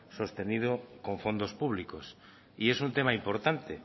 sostenido con fondos públicos y es un tema importante